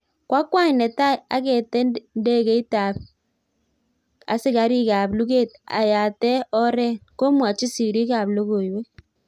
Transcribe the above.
Koa kwany netai agetee ndekeit ap Asikarik ap luget ayatee oreet. komwachi siriik ap logoiwek